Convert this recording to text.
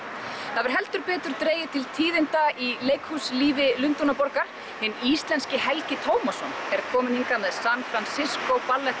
það hefur heldur betur dregið til tíðinda í leikhúslífi Lundúnaborgar hinn íslenski Helgi Tómasson er kominn hingað með San Francisco